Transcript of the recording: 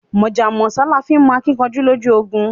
Mọ̀jà mọ̀sá là fi nmọ akíkanjú lójú ogun